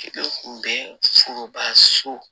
kun bɛ foroba so